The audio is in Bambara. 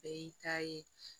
Bɛɛ y'i ta ye